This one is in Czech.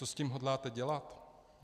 Co s tím hodláte dělat?